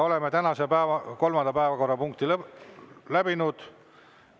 Oleme tänase kolmanda päevakorrapunkti läbinud.